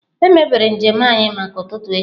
Emebere njem anyị maka ụtụtụ echi.